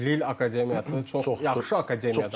Amma Lil Akademiyası çox yaxşı akademiyadır.